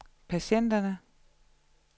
patienterne